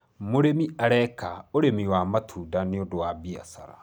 mũrĩmi areka ũrĩmi wa matunda nĩũndũ wa biashara